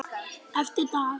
Eftir dag.